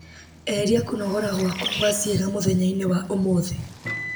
eheria kũnogora wakwa gwa ciĩga mũthenya-inĩ wa ũmũthĩ